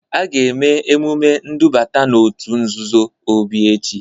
A ga-eme emume ndubata n'òtù nzuzo Obi echi.